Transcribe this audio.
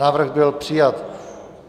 Návrh byl přijat.